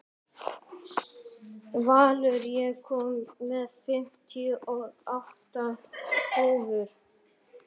Valur, ég kom með fimmtíu og átta húfur!